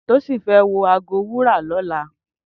Tosin fè wò àgó wúrà lòlá